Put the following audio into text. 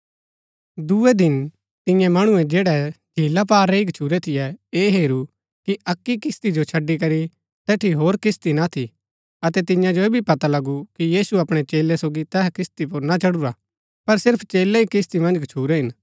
दूये दिन तियें मणुऐ जैड़ै झीला पार रैई गच्छुरै थियै ऐह हेरू कि अक्की किस्ती जो छड़ी करी तैठी होर किस्ती ना थी अतै तियां जो ऐह भी पता लगु कि यीशु अपणै चेलै सोगी तैहा किस्ती पुर ना चढुरा पर सिर्फ चेलै ही किस्ती मन्ज गच्छुरै हिन